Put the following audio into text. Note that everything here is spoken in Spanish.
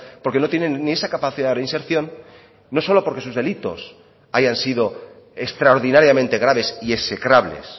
porque no tienen ni esa capacidad de reinserción no solo porque sus delitos hayan sido extraordinariamente graves y execrables